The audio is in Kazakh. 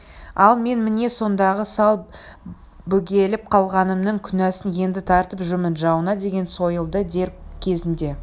ал мен міне сондағы сәл бөгеліп қалғанымның күнәсін енді тартып жүрмін жауыңа деген сойылды дер кезінде